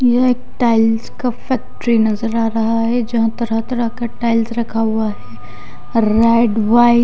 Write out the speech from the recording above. यह एक टाइल्स का फैक्ट्री नजर आ रह है जहा तरह तरहा का टाइल्स रखा हुआ है रेड व्हाइट --